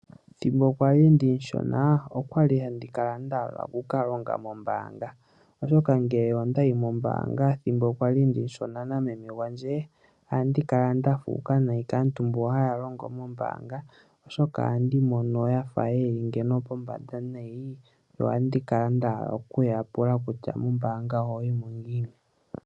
Ethimbo kwali omushona , okwali handi kala nda hala oku ka longa mombaanga, oshoka ngele ondayi mombaanga nameme gwandje , ohandi kala nda fuuka unene kaantu mboka haya longo mombaanga, oshoka ohandi mono yafa yeli pombanda nayi , na ohandi kala nda hala okuyapula kutya ; mombaanga ohaya yimo ngiini?